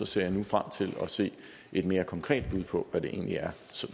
ser jeg nu frem til at se et mere konkret bud på hvad det egentlig er